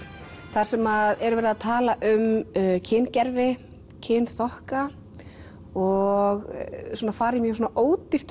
þar sem er verið að tala um kyngervi kynþokka og svona fara í mjög ódýrt